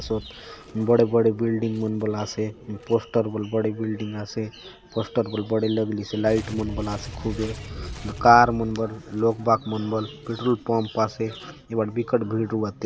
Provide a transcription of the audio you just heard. बड़े बड़े बिल्डिंग मन बले आसे पोस्टर बले बड़े बिल्डिंग आसे पोस्टर बले बड़े लगलीसे लाइट मन बले आसे खूबे कार मन बले लोग बाग मन बले पेट्रोल पंप आसे ए बाट बिकट भीड़ रहुआत ए थाने --